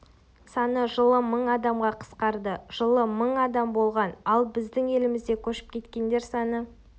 саны жылы мың адамға қысқарды жылы мың адам болған ал біздің елімізде көшіп келгендер саны